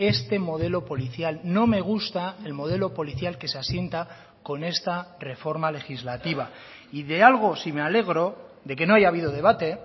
este modelo policial no me gusta el modelo policial que se asienta con esta reforma legislativa y de algo si me alegro de que no haya habido debate